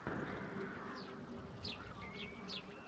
у тебя есть джити воркшоп икейикс